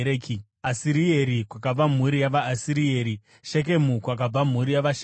Asirieri, kwakabva mhuri yavaAsirieri; Shekemu, kwakabva mhuri yavaShekemu;